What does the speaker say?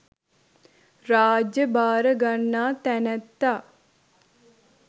රාජ්‍ය භාර ගන්නා තැනැත්තා